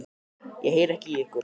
Ég heyri ekki í ykkur.